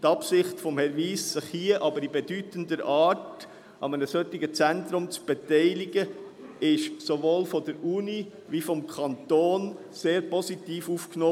Die Absicht von Herrn Wyss, sich hier in bedeutender Art an einem solchen Zentrum zu beteiligen, wurde aber sowohl von der Universität als auch vom Kanton sehr positiv aufgenommen.